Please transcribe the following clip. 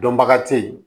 Dɔnbaga te yen